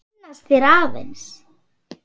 Kynnast þér aðeins.